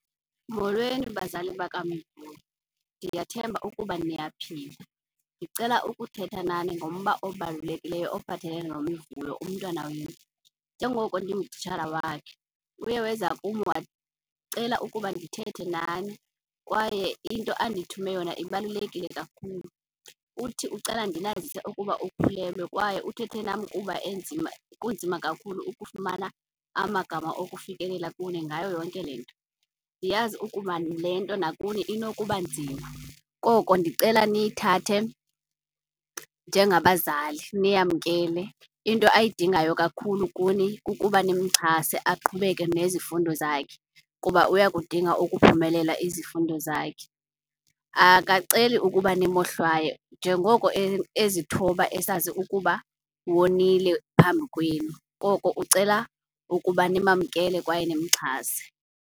Molweni bazali bakaMivuyo, ndiyathemba ukuba niyaphila. Ndicela ukuthetha nani ngomba obalulekileyo ophathelene noMivuyo, umntwana wenu. Njengoko ndingutitshala wakhe uye wenza kum wacela ukuba ndithethe nani kwaye into andithumele yona ibalulekile kakhulu. Uthi ucela ndinazise ukuba ukhulelwe kwaye uthethe nam kuba enzima, kunzima kakhulu ukufumana amagama okufikelela kuni ngayo yonke le nto. Ndiyazi ukuba le nto nakuni inokuba nzima, koko ndicela niyithathe njengabazali niyamkele. Into ayidingayo kakhulu kuni kukuba nimxhase aqhubeke nezifundo zakhe kuba uyakudinga ukuphumelela izifundo zakhe. Akaceli ukuba nimohlwaye njengoko ezithoba esazi ukuba wonile phambi kwenu, koko ucela ukuba nimamkele kwaye nimxhase.